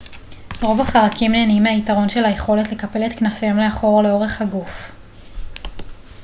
רוב החרקים נהנים מהיתרון של היכולת לקפל את כנפיהם לאחור לאורך הגוף